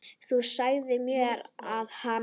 Þú sagðir mér að hann.